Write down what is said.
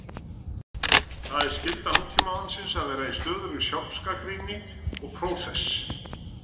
Það er skylda Nútímamannsins að vera í stöðugri sjálfsgagnrýni og prósess.